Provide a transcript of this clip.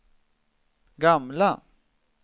gamla